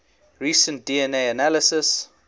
recent dna analysis